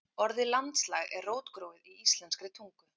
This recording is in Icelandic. Orðið landslag er rótgróið í íslenskri tungu.